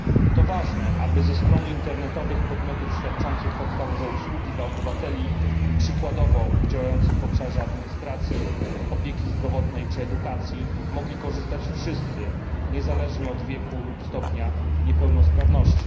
To ważne, aby ze stron internetowych podmiotów świadczących podstawowe usługi dla obywateli, przykładowo działających w obszarze administracji, opieki zdrowotnej czy edukacji, mogli korzystać wszyscy, niezależnie od wieku czy stopnia niepełnosprawności.